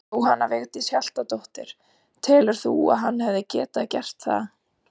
Jóhanna Vigdís Hjaltadóttir: Telur þú að hann hefði getað gert það?